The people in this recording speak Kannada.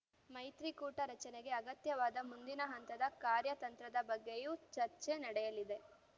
ಮೈತ್ರಿಕೂಟ ರಚನೆಗೆ ಅಗತ್ಯವಾದ ಮುಂದಿನ ಹಂತದ ಕಾರ್ಯತಂತ್ರದ ಬಗ್ಗೆಯೂ ಚರ್ಚೆ ನಡೆಯಲಿದೆ